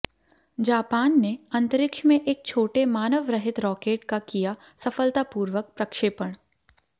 Japan ने अंतरिक्ष में एक छोटे मानवरहित रॉकेट का किया सफलतापूर्वक प्रक्षेपण